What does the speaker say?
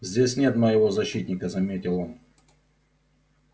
здесь нет моего защитника заметил он